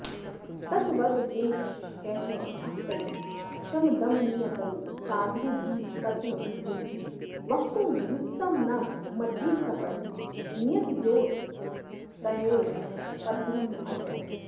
तद्वद्रङ्गेशभक्तैः शमदमनियतैः साधुभिस्तत्त्वविद्भिः वक्तुं युक्तं न मध्ये सपदि नियतयोरेतयोः पद्यमन्यत्